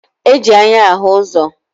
E ji anya ahụ ụzọ